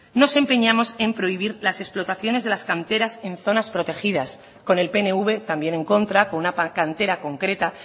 nos empeñamos en prohibir las explotaciones de la canteras en zonas protegidas con el pnv también en contra con una cantera concreta